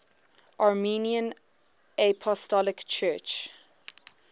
armenian apostolic church